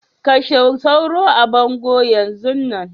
Kashe sauro a bango Yan zun nan.